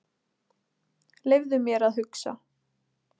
Leyfðu mér að hugsa.